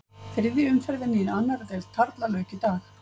Þriðju umferðinni í annarri deild karla lauk í dag.